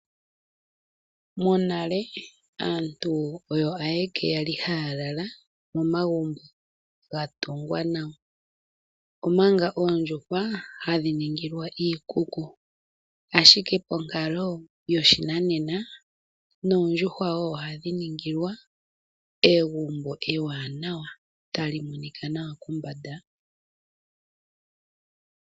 Monale aantu oyo ashike haya lala momagumbo ga tungwa nawa omanga oondjushwa hadhi ningilwa iikuku, ashike onkalo yoshinanena noondjuhwa ohadhi ningilwa egumbo ewanawa tali monikwa nawa kombanda.